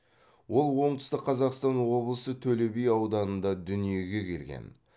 ол оңтүстік қазақстан облысы төлеби ауданында дүниеге келген